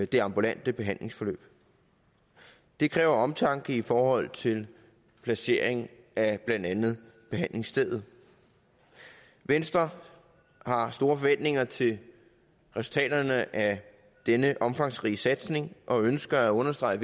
det ambulante behandlingsforløb det kræver omtanke i forhold til placering af blandt andet behandlingsstedet venstre har store forventninger til resultaterne af denne omfangsrige satsning og ønsker at understrege